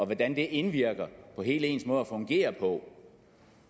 hvordan det indvirker på hele ens måde at fungere på